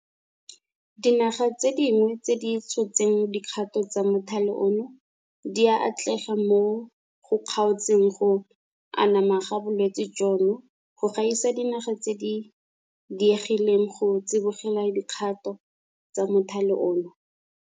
Dinaga tse dingwe tse di tshotseng dikgato tsa mothale ono di a atlega mo go kgaotseng go anama ga bolwetse jono go gaisa dinaga tse di diegileng go tsibogela dikgato tsa mothale ono.